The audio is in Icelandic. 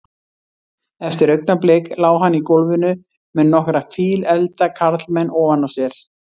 Eftir augnablik lá hann í gólfinu með nokkra fíleflda karlmenn ofan á sér.